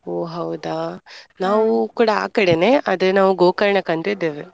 ಒಹ್ ಹೌದಾ ನಾವು ಕೂಡ ಆಕಡೆನೇ ಅದೇ ನಾವು lang:Foreign Gokarna lang:Foreign ಕ್ಕಂದಿದ್ದೇವೆ